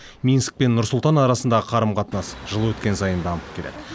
минск пен нұр сұлтан арасындағы қарым қатынас жыл өткен сайын дамып келеді